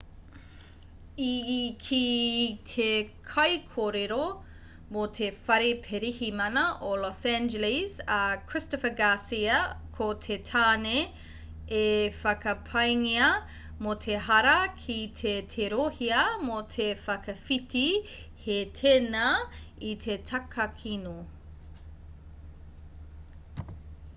i kī te kaikōrero mō te whare pirihimana o los angeles a christopher garcia ko te tāne e whakapaengia mō te hara kei te tirohia mō te whakawhiti hē tēnā i te takakino